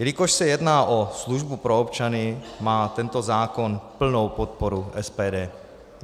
Jelikož se jedná o službu pro občany, má tento zákon plnou podporu SPD.